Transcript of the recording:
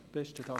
Spricht